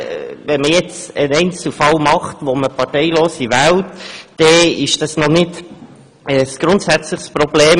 Wenn man in einem Einzelfall Parteilose wählt, ist das noch kein grundsätzliches Problem.